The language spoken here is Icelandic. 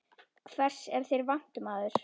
Hvers er þér vant, maður?